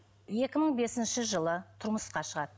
екі мың бесінші жылы тұрмысқа шығады